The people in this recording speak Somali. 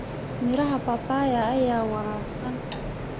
Miraha Papaya ayaa wanaagsan.